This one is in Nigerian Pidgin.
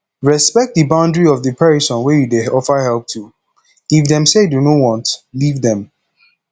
respect di boundry of di perosn wey you dey offer help to if dem say dem no want leave them